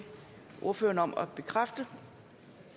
ordføreren om at bekræfte